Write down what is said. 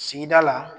Sigida la